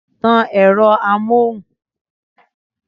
Tan ẹ̀rọ amóhùn!